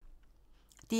DR1